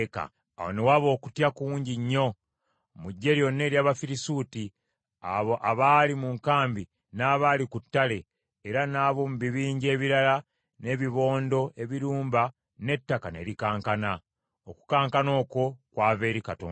Awo ne waba okutya kungi nnyo mu ggye lyonna ery’Abafirisuuti abo abaali mu nkambi n’abaali ku ttale; era n’ab’omu bibinja ebirala n’ebibondo ebirumba n’ettaka ne likankana. Okukankana okwo kwava eri Katonda.